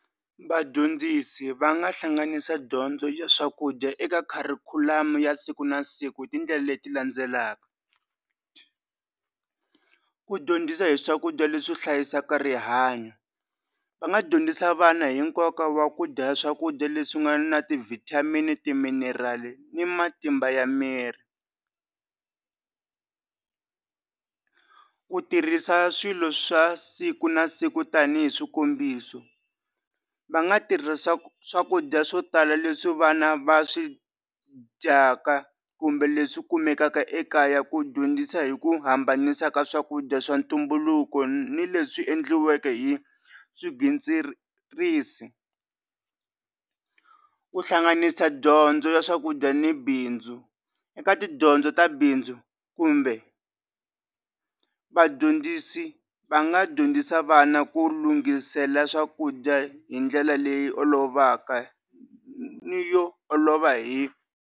Vadyondzisi va nga hlanganisa dyondzo ya swakudya eka kharikhulamu ya siku na siku hi tindlela leti landzelaka ku dyondzisa hi swakudya leswi hlayisaka rihanyo va nga dyondzisa vana hi nkoka wa ku dya swakudya leswi nga na ti vitamin timinerali ni matimba ya miri ku tirhisa swilo swa siku na siku tanihi swikombiso va nga tirhisa swakudya swo tala leswi vana va swi dyaka kumbe leswi kumekaka ekaya ku dyondzisa hi ku hambanisa ka swakudya swa ntumbuluko ni le swi endliweke hi swigwitsirisi ku hlanganisa dyondzo ya swakudya ni bindzu eka tidyondzo ta bindzu kumbe vadyondzisi va nga dyondzisa vana ku lunghisela swakudya hi ndlela leyi olovaka ni yo olova hi.